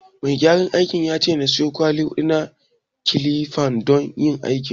Mai gyaran aikin ya ce na siyo kwali huɗu na kilif don yin aikin